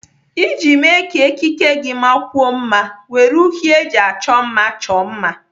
Iji mee ka ekike gị makwuo mma, were uri eji achọ mma chọọ mma.